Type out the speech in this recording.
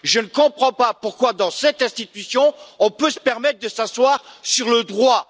Je ne comprends pas pourquoi dans cette institution, on peut se permettre de s'asseoir sur le droit!